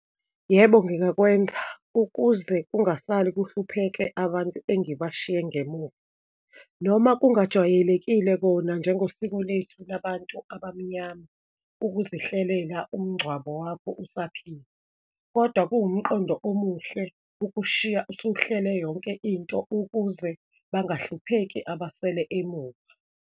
Yebo, ngingakwenza ukuze kungasali kuhlupheke abantu engibashiye ngemuva, noma kungajwayelekile kona nje ngosiko lethu labantu abamnyama, ukuzihlelela umngcwabo wakho usaphila, kodwa kuwumqondo omuhle, ukushiya usuhlele yonke into ukuze bangahlupheki abasele emuva.